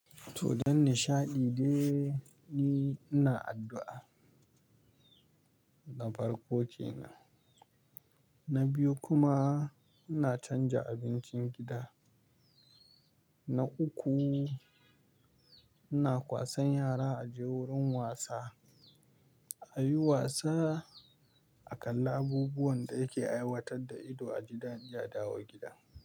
To don nishaɗi dai ni ina addu'a, na farko kenan. Na biyu kuma ina canja abincin gida. Na uku, ina kwasan yara a je wurin wasa, a yi wasa a kan abubuwan da yake aiwatar da ido a gidaje adawo gida.